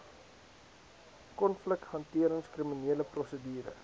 konflikhantering kriminele prosedure